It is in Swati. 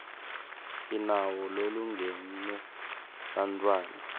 sinawo lolungele bantfwana